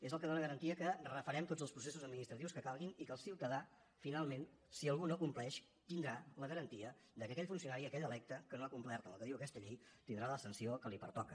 és el que dóna garantia que refarem tots els processos administratius que calgui i que el ciutadà finalment si algú no compleix tindrà la garantia que aquell funcionari aquell electe que no ha complert el que diu aquesta llei tindrà la sanció que li pertoca